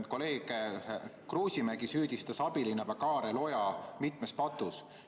Kolleeg Kruusimäe süüdistas abilinnapea Kaarel Oja mitmes patus.